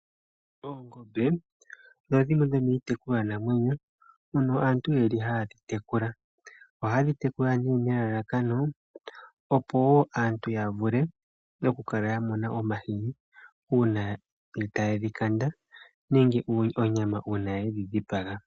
Oongombe odho dhimwe dhomiitekulwa namwenyo mbyono aantu ye li haatekula, ohaye dhi tekula nee nelalakano opo aantu yavule oku kala yamona omahini uuna taye dhi kanda, nenge onyama uuna ye dhi dhipaga.